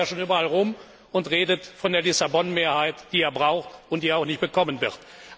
Deshalb läuft er ja schon überall herum und redet von der Lissabon Mehrheit, die er braucht, die er aber nicht bekommen wird.